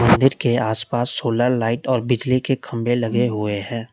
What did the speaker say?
मंदिर के आसपास सोलर लाइट और बिजली के खंभे लगे हुए हैं।